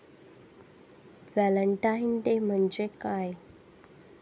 Valentine day म्हणजे काय?